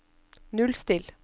nullstill